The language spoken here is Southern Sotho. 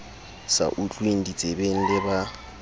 sa utlweng ditsebeng le ba